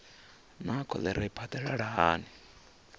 naa kholera i phadalala hani